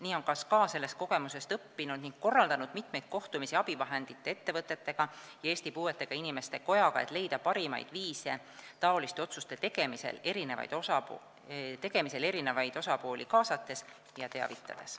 Nii on ka SKA sellest kogemusest õppinud ning korraldanud mitmeid kohtumisi abivahendeid pakkuvate ettevõtetega ja Eesti Puuetega Inimeste Kojaga, et leida parimaid viise, kuidas otsuste tegemisel eri osapooli kaasata ja teavitada.